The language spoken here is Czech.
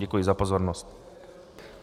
Děkuji za pozornost.